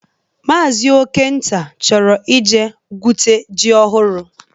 Maazi Okenta chọrọ ije gwute ji ọhụrụ